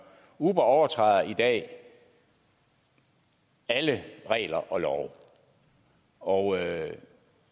uber overtræder i dag alle regler og love og